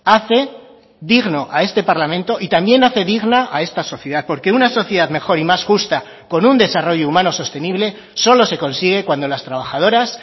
hace digno a este parlamento y también hace digna a esta sociedad porque una sociedad mejor y más justa con un desarrollo humano sostenible solo se consigue cuando las trabajadoras